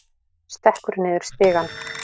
Stekkur niður stigann.